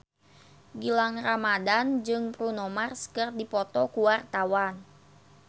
Gilang Ramadan jeung Bruno Mars keur dipoto ku wartawan